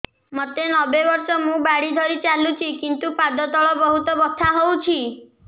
ମୋତେ ନବେ ବର୍ଷ ମୁ ବାଡ଼ି ଧରି ଚାଲୁଚି କିନ୍ତୁ ପାଦ ତଳ ବହୁତ ବଥା ହଉଛି